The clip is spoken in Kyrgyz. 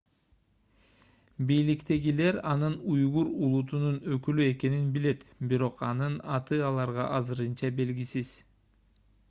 бийликтегилер анын уйгур улутунун өкүлү экенин билет бирок анын аты аларга азырынча белгисиз